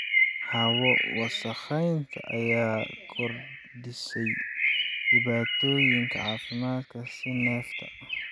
Hawo wasakhaysan ayaa kordhisay dhibaatooyinka caafimaadka sida neefta.